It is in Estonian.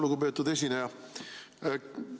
Lugupeetud esineja!